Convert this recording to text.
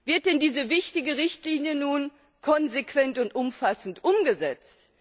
Wird denn diese wichtige Richtlinie nun konsequent und umfassend umgesetzt?